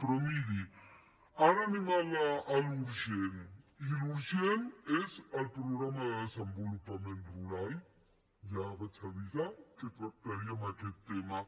però miri ara anem al que és urgent i el que és urgent és el programa de desenvolupament rural ja vaig avisar que tractaríem aquest tema